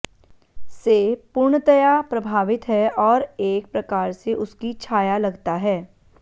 से पूर्णतया प्रभावित है और एक प्रकार से उसकी छाया लगता है